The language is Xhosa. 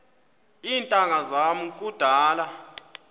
iintanga zam kudala